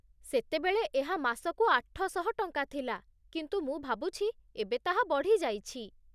ସେତେବେଳେ ଏହା ମାସକୁ ଆଠଶହ ଟଙ୍କା ଥିଲା କିନ୍ତୁ ମୁଁ ଭାବୁଛି ଏବେ ତାହା ବଢ଼ି ଯାଇଛି।